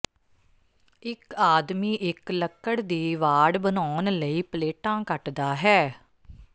ਇੱਕ ਆਦਮੀ ਇੱਕ ਲੱਕੜ ਦੀ ਵਾੜ ਬਨਾਉਣ ਲਈ ਪਲੇਟਾਂ ਕੱਟਦਾ ਹੈ